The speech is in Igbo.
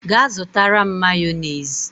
Ga zutara m Mayonezi!